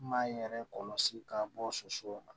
Maa in yɛrɛ kɔlɔsi ka bɔ soso la